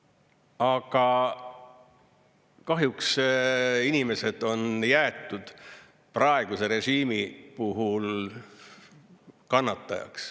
Aga kahjuks inimesed on jäetud praeguse režiimi puhul kannatajaks.